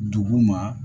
Dugu ma